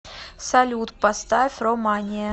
салют поставь ро мания